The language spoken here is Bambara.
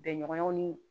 Bɛɲɔgɔnw ni